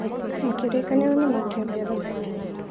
Makĩrĩkanĩra na makĩambia thabarĩ.